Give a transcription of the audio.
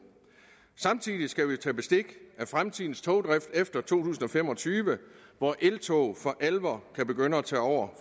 samtidig skal vi tage bestik af fremtidens togdrift efter to tusind og fem og tyve hvor eltog for alvor kan begynde at tage over